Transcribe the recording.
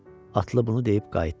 Atlı bunu deyib qayıtdı.